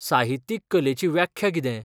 साहित्यीक कलेची व्याख्या कितें?